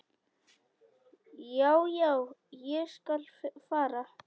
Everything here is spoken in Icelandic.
Já, já, ég skal fara.